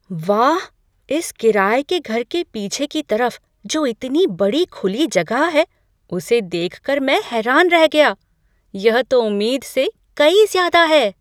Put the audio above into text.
वाह, इस किराये के घर के पीछे की तरफ़ जो इतनी बड़ी खुली जगह है उसे देख कर मैं हैरान रह गया, यह तो उम्मीद से कई ज़्यादा है।